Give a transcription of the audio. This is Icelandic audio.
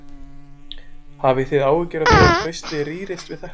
Hafið þið áhyggjur af því að traustið rýrist við þetta?